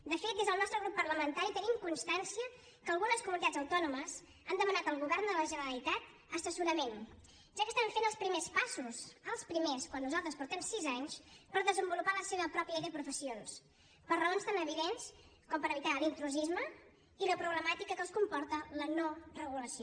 de fet des del nostre grup parlamentari tenim constància que algunes comunitats autònomes han demanat al govern de la generalitat assessorament ja que estan fent els primers passos els primers quan nosaltres portem sis anys per desenvolupar la seva pròpia llei de professions per raons tan evidents com evitar l’intrusisme i la problemàtica que els comporta la no regulació